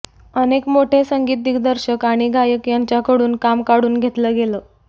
अनेक मोठे संगीत दिग्दर्शक आणि गायक यांच्याकडून काम काढून घेतलं गेलं